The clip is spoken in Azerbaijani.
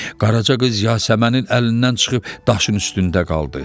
Qaraca qız Yasəmənin əlindən çıxıb daşın üstündə qaldı.